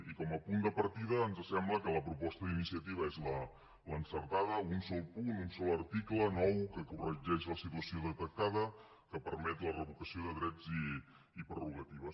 i com a punt de partida ens sembla que la proposta d’iniciativa és l’encertada un sol punt un sol article nou que corregeix la situació detectada que permet la revocació de drets i prerrogatives